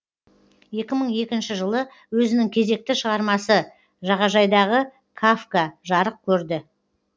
екі мың екінші жылы өзінің кезекті шығармасы жағажайдағы кафка жарық көрді